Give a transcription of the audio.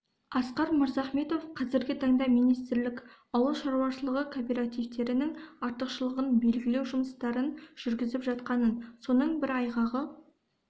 асқар мырзахметов қазіргі таңда министрлік ауыл шаруашылығы кооперативтерінің артықшылығын белгілеу жұмыстарын жүргізіп жатқанын соның бір айғағы